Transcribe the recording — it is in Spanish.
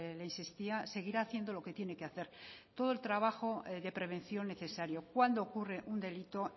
le insistía seguirá haciendo lo que tiene que hacer todo el trabajo de prevención necesario cuando ocurre un delito